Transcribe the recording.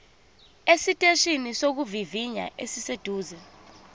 esiteshini sokuvivinya esiseduze